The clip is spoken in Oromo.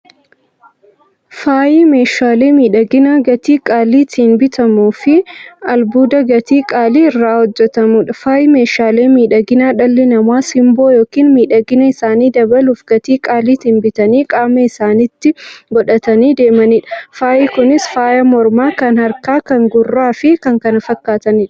Faayyi meeshaalee miidhaginaa gatii qaalitiin bitamuufi albuuda gatii qaalii irraa hojjatamuudha. Faayyi meeshaalee miidhaginaa, dhalli namaa simboo yookiin miidhagina isaanii dabaluuf, gatii qaalitiin bitanii qaama isaanitti qodhatanii deemaniidha. Faayyi Kunis; faaya mormaa, kan harkaa, kan gurraafi kan kana fakkataniidha.